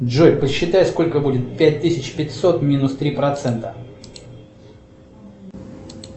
джой посчитай сколько будет пять тысяч пятьсот минус три процента